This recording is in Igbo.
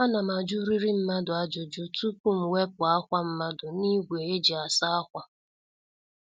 Ana m ajuriri mmadụ ajụjụ tupu m wepụ ákwá mmadụ n'ígwé eji asa ákwá